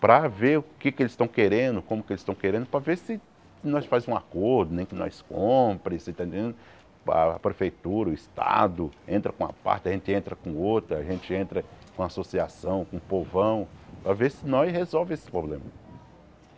para ver o que que eles estão querendo, como que eles estão querendo, para ver se nós faz um acordo, nem que nós compre você está entendendo, a Prefeitura, o Estado, entra com uma parte, a gente entra com outra, a gente entra com associação, com o povão, para ver se nós resolve esse problema.